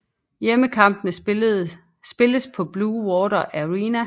Hjemmekampene spilles på Blue Water Arena